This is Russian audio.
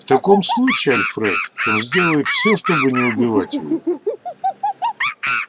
в таком случае альфред он сделает всё чтобы не убивать его